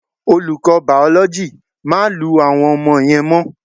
Olùkọ́ Bàòlójì, "má lu àwọn ọmọ yẹn mọ́"